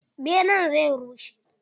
Benen zai rushe.